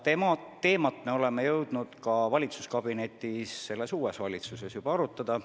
Seda teemat me oleme jõudnud valitsuskabinetis selles uues valitsuses juba arutada.